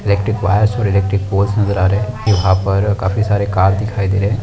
Electric wires और electric boards नजर आ रहे है यहाँ पर काफी सारे कार दिखाई दे रहे हैं।